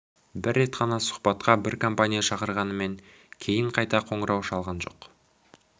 бір рет қана сұхбатқа бір компания шақырғанымен кейін қайта қоңырау шалған жоқ